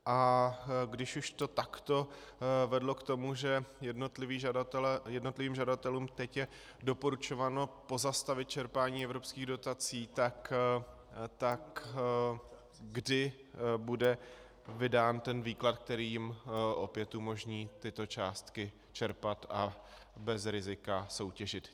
A když už to takto vedlo k tomu, že jednotlivým žadatelům teď je doporučováno pozastavit čerpání evropských dotací, tak kdy bude vydán ten výklad, který jim opět umožní tyto částky čerpat a bez rizika soutěžit.